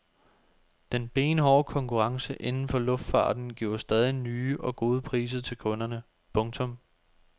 Den benhårde konkurrence inden for luftfarten giver stadig nye og gode priser til kunderne. punktum